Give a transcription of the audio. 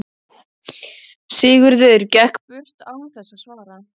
Sigurður gekk burt án þess að svara.